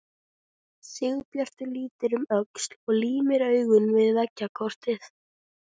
Sigurbjartur lítur um öxl og límir augun við veggjakrotið.